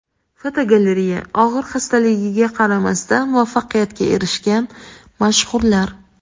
Fotogalereya: Og‘ir xastaligiga qaramasdan, muvaffaqiyatga erishgan mashhurlar.